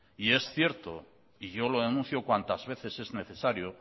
y es cierto y yo lo denuncio cuantas veces es necesario